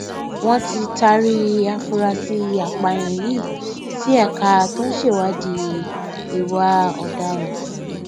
wọn ti taari àfúráṣí apààyàn yìí sí ẹka tó ń ṣèwádìí ìwà ọdaràn